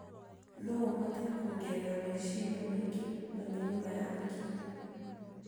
No ũhote kuongerera meciria maingĩ na mĩnoga ya hakiri.